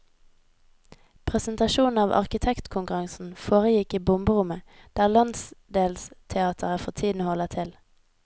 Presentasjonen av arkitektkonkurransen foregikk i bomberommet, der landsdelsteateret for tiden holder til.